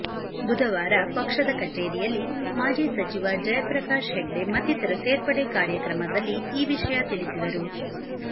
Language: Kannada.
ಬುಧವಾರ ಪಕ್ಷದ ಕಚೇರಿಯಲ್ಲಿ ಮಾಜಿ ಸಚಿವ ಜಯಪ್ರಕಾಶ್ ಹೆಗ್ಡೆ ಮತ್ತಿತರ ಸೇರ್ಪಡೆ ಕಾರ್ಯಕ್ರಮದಲ್ಲಿ ಈ ವಿಷಯ ತಿಳಿಸಿದರು